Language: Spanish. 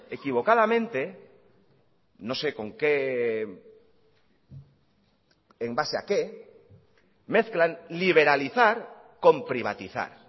equivocadamente no sé con qué en base a qué mezclan liberalizar con privatizar